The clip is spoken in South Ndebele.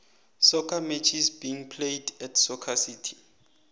soccer matches being played at soccer city